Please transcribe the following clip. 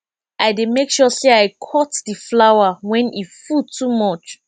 i dey make sure sey i cut di flower wen e full too much